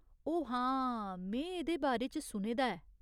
ओऽ हां, में एह्दे बारे च सुने दा ऐ।